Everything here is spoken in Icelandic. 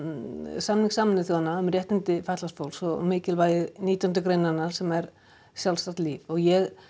samning Sameinuðu þjóðanna um réttindi fatlaðs fólks og mikilvæg nítjánda greinarinnar sem er sjálfstætt líf og ég